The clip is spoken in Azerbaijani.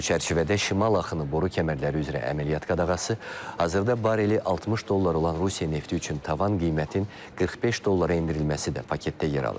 Bu çərçivədə Şimal Axını boru kəmərləri üzrə əməliyyat qadağası, hazırda barreli 60 dollar olan Rusiya nefti üçün tavan qiymətin 45 dollara endirilməsi də paketdə yer alır.